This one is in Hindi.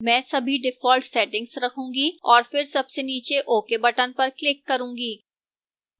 मैं सभी default settings रखूंगी और फिर सबसे नीचे ok button पर click करूंगी